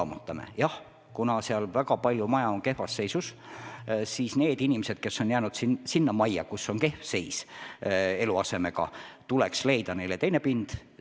Aga kuna seal väga paljud majad on kehvas seisus, siis tuleks nendele inimestele, kes on jäänud säärasesse majja, teine pind leida.